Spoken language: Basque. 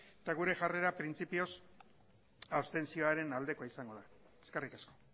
eta gure jarrera printzipioz abstentzioaren aldekoa izango da eskerrik asko